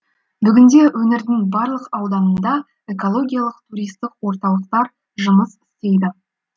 бүгінде өңірдің барлық ауданында экологиялық туристік орталықтар жұмыс істейді